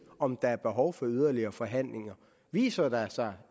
om der er behov for yderligere forhandlinger viser der sig